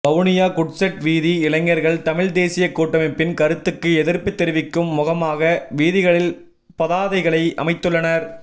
Vavuniya goods shed வீதி இளைஞர்கள் தமிழ் தேசிய கூட்டமைப்பின் கருத்துக்கு எதிர்ப்பு தெரிவிக்கும் முகமாக வீதிகளில் பதாதைகளை அமைத்துள்ளனர்